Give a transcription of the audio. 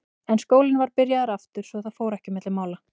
En skólinn var byrjaður aftur svo að það fór ekki á milli mála.